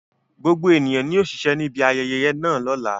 Gbogbo ènìyàn ni yóò ṣiṣẹ́ ní ibi ayẹyẹ náà